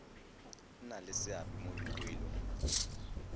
nna le seabe mo dipoelong